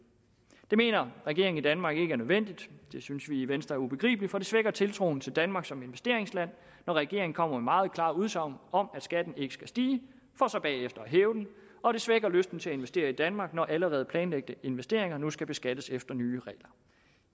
det mener regeringen i danmark ikke er nødvendigt det synes vi i venstre er ubegribeligt for det svækker tiltroen til danmark som investeringsland når regeringen kommer med meget klare udsagn om at skatten ikke skal stige for så bagefter at hæve den og det svækker lysten til at investere i danmark når allerede planlagte investeringer nu skal beskattes efter nye regler